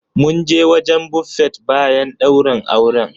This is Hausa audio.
Mun je wajen Buffet bayan ɗaurin auren.